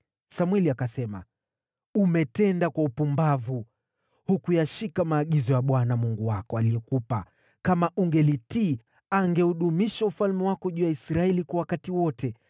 Samweli akasema, “Umetenda kwa upumbavu. Hukuyashika maagizo ya Bwana Mungu wako aliyokupa. Kama ungelitii, angeudumisha ufalme wako juu ya Israeli kwa wakati wote.